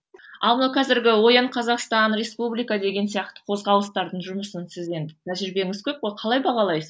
ал мынау қазіргі оян қазақстан республика деген сияқты қозғалыстардың жұмысын сіз енді тәжірибеңіз көп қой қалай бағалайсыз